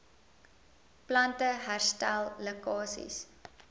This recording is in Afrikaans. plante herstel lekkasies